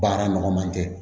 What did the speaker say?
Baara nɔgɔ man kɛ